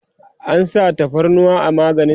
an sa tafarnuwa a maganin?